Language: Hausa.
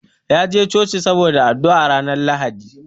Ya je Coci saboda addu'ar ranar Lahadi.